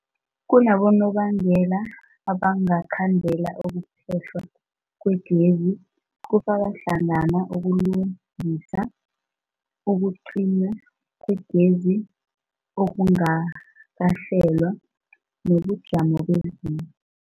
Kunabonobangela abangakhandela ukuphehlwa kwegezi, kufaka hlangana ukulungisa, ukucinywa kwegezi okungakahlelwa, nobujamo bezulu.